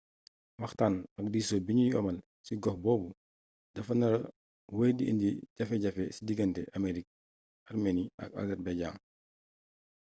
waxtaan ak diisoo bi ñuy amal cig ox boobu dafa nara wéy di indi jafe-jafe ci diggante armenie ak azerbaïdjan